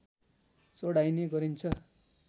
चढाइने गरिन्छ